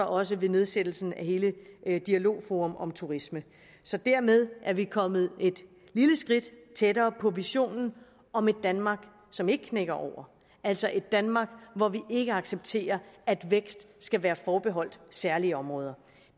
også ved nedsættelsen af hele dialogforum om turisme så dermed er vi kommet et lille skridt tættere på visionen om et danmark som ikke knækker over altså et danmark hvor vi ikke accepterer at vækst skal være forbeholdt særlige områder